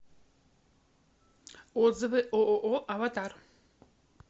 отзывы ооо аватар